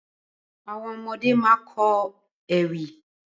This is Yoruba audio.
Àwọn ọmọdé ma kọ́ ewì